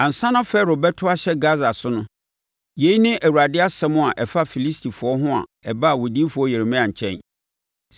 Ansa na Farao bɛto ahyɛ Gasa so no, yei ne Awurade asɛm a ɛfa Filistifoɔ ho a ɛbaa odiyifoɔ Yeremia nkyɛn: